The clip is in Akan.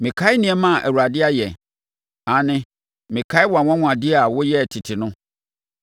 Mɛkae nneɛma a Awurade ayɛ; aane, mɛkae wʼanwanwadeɛ a woyɛɛ tete no.